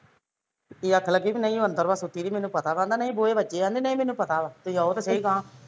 ਇਹ ਆਖਣ ਲੱਗੇ ਵੀ ਨਹੀਂ ਉਹ ਅੰਦਰ ਆ ਸੁੱਤੀ ਦਿ ਮੈਂਨੂੰ ਪਤਾ ਵਾ ਨਹੀਂ ਬੂਹੇ ਵਜੇ ਵਾ ਕਹਿੰਦਾ ਨਹੀਂ ਮੈਂਨੂੰ ਪਤਾ ਵਾ ਤੁਸੀਂ ਆਓ ਤੇ ਸਹੀ ਗਾਹਾਂ